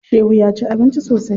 Shehu ya ci abinci sosai.